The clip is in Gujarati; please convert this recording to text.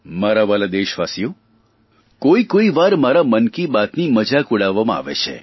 મારા વ્હાલા દેશવાસીઓ કોઇકોઇવાર મારી મન કી બાતની મજાક ઉડાવવામાં આવે છે